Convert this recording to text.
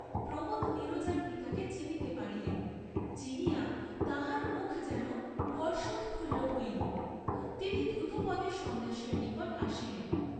প্রমোদ নীরজার পিতাকে চিনিতে পারিলেন; চিনিয়া তাহার মুখ যেন হর্ষোৎফুল্ল হইল; তিনি দ্রুতপদে সন্ন্যাসীর নিকট আসিলেন।